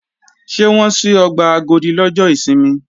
Ṣé wọ́n ṣí ọgbà Agodi lọ́jọ́ ìsinmi?